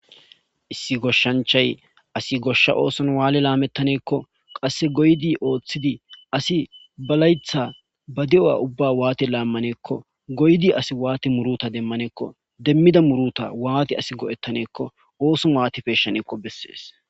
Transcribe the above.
issi goshshanchay asi goshsha ooson waale laamettaneekko qasse goydi ooththidi asi balaytha ba de7o7a ubba waati laammaneekko goydi asi waati muruta demmaneekko demmida muruta waati asi go7ettaneekko ooson waatipeyshaneko bessees